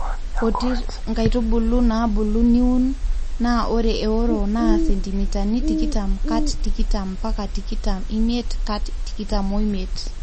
otr nkaitubulu naabulu niun naa ore eworo naa sentimitani tikitam kat tikitam mpaka tikitam imiet kat tikitam omiet